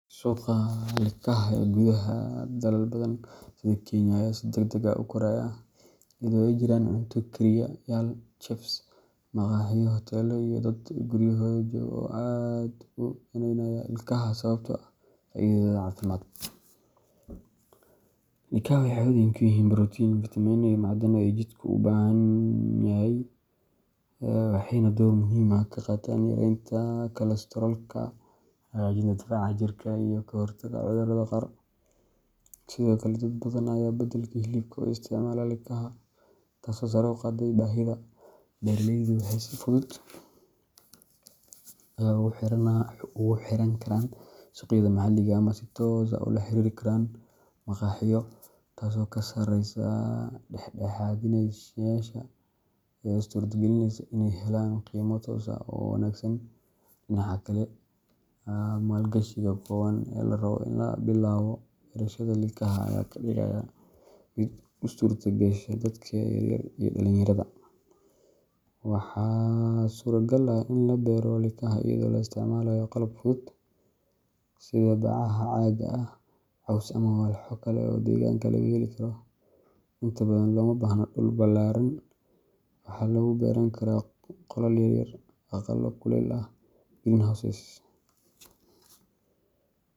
Suuqa likaha ee gudaha dalal badan, sida Kenya, ayaa si degdeg ah u koraya, iyadoo ay jiraan cunto kariye yaal chefs, maqaaxiyo, hoteelo, iyo dad guryahooda jooga oo aad u daneynaya likaha sababtoo ah faa’iidadooda caafimaad. Likaha waxay hodan ku yihiin borotiin, fitamiinno, iyo macdano ay jidhku u baahan yahay, waxayna door muhiim ah ka qaataan yareynta kolestaroolka, hagaajinta difaaca jirka, iyo ka hortagga cudurrada qaar. Sidoo kale, dad badan ayaa beddelka hilibka u isticmaala likaha, taasoo sare u qaaday baahida. Beeraleydu waxay si fudud ugu xiran karaan suuqyada maxalliga ah ama si toos ah ula xiriiri karaan maqaaxiyo, taasoo meesha ka saaraysa dhexdhexaadiyeyaasha una suurtagelineysa in ay helaan qiimo toos ah oo wanaagsan. Dhinaca kale, maalgashiga kooban ee la rabo si loo bilaabo beerashada likaha ayaa ka dhigaya mid u suurtagasha dadka yaryar iyo dhallinyarada. Waxaa suuragal ah in la beero likaha iyadoo la isticmaalayo qalab fudud sida bacaha caagga ah, caws, ama walxo kale oo deegaanka laga heli karo. Inta badan looma baahna dhul ballaaran waxaa lagu beeran karaa qolal yaryar, aqallo kuleylka leh greenhouses.